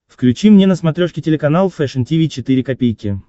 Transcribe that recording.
включи мне на смотрешке телеканал фэшн ти ви четыре ка